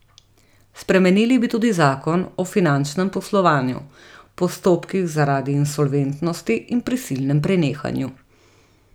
Spremenili bi tudi Zakon o finančnem poslovanju, postopkih zaradi insolventnosti in prisilnem prenehanju.